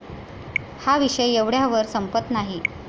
हा विषय एवढ्यावर संपत नाही.